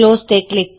keyboard XML